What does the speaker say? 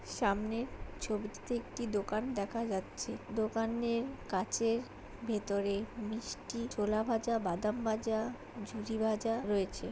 সামনে ছবিটিতে একটি দোকান দেখা যাচ্ছে দোকানের কাঁচের ভেতরে মিষ্টি ছোলা ভাজা বাদাম ভাজা ঝুরিভাজা রয়েছে।